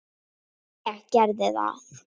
Ég geri það.